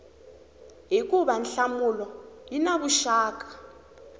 hikuva nhlamulo yi na vuxaka